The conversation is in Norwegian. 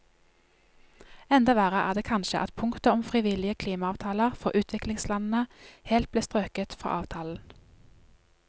Enda verre er det kanskje at punktet om frivillige klimaavtaler for utviklingslandene helt ble strøket fra avtalen.